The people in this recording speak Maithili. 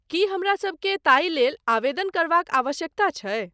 की हमरासभकेँ ताहि लेल आवेदन करबाक आवश्यकता छै?